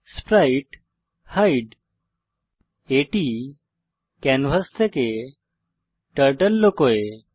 sprite hide এটি canvas থেকে turtle লুকোয়